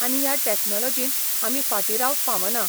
आनी ह्या टॅक्नोलोजीन आमी फाटी रावंक फावना.